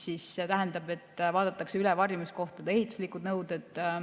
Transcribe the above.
See tähendab, et vaadatakse üle varjumiskohtade ehituslikud nõuded.